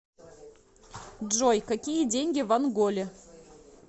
джой какие деньги в анголе